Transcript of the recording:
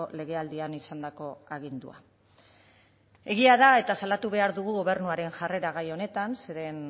legealdian izandako agindua egia da eta salatu behar dugu gobernuaren jarrera gai honetan zeren